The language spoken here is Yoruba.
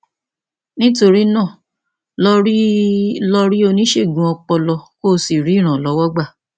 nítorí náà lọ rí lọ rí oníṣègùn ọpọlọ kó o sì rí ìrànlọwọ gbà